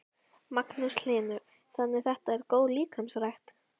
Magnús Hlynur: Þannig þetta er góð líkamsrækt?